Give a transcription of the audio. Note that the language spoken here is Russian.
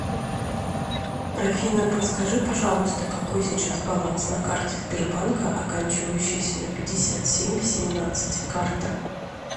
афина подскажи пожалуйста какой сейчас баланс на карте сбербанка оканчивающейся на пятьдесят семь семнадцать карта